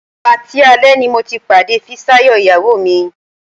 Patí alẹ́ ni mo ti pàdé Fisáyọ̀ ìyàwó mi